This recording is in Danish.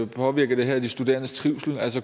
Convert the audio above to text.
påvirker det her de studerendes trivsel